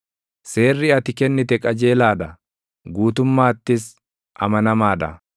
Seerri ati kennite qajeelaa dha; guutummaattis amanamaa dha.